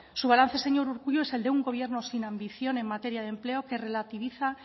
su balance señor urkullu es el de un gobierno sin ambición en materia de empleo que relativiza